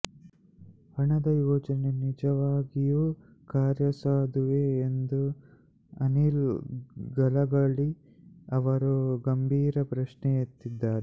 ಹಣದ ಯೋಜನೆ ನಿಜವಾಗಿಯೂ ಕಾರ್ಯಸಾಧುವೆ ಎಂದು ಅನಿಲ್ ಗಲಗಲಿ ಅವರು ಗಂಭೀರ ಪ್ರಶ್ನೆ ಎತ್ತಿದ್ದಾರೆ